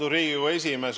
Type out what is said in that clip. Austatud Riigikogu esimees!